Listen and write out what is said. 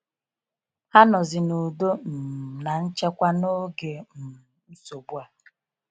Ha nọzi n'udo um na nchekwa n'oge um nsogbu a.